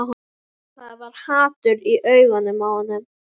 Það var hatur í augunum á honum.